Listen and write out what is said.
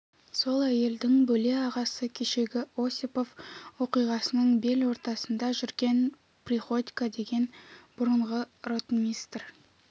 сол әйелдің бөле ағасы кешегі осипов оқиғасының бел ортасында жүрген приходько деген бұрынғы ротмистр